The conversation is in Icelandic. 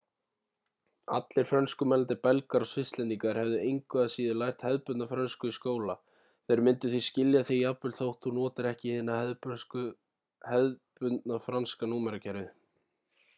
allir frönskumælandi belgar og svisslendingar hefðu engu að síður lært hefðbundna frönsku í skóla þeir myndu því skilja þig jafnvel þótt þú notir ekki hið hefðbundna franska númerakerfið